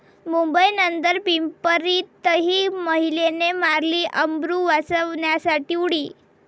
मुंबई नंतर पिंपरीतही महिलेने मारली अब्रू वाचवण्यासाठी उडी